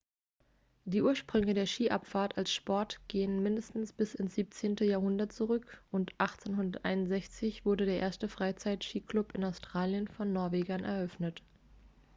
die ursprünge der skiabfahrt als sport gehen mindestens bis ins 17. jahrhundert zurück und 1861 wurde der erste freizeit-skiclub in australien von norwegern eröffnet